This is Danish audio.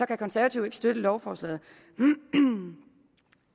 kan konservative ikke støtte lovforslaget